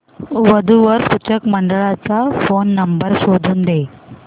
वधू वर सूचक मंडळाचा फोन नंबर शोधून दे